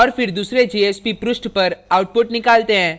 और फिर दूसरे jsp पृष्ठ पर output निकालते हैं